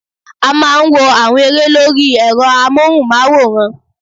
A máa n wo àwọn eré lórí èrọ amóhùn máwòrán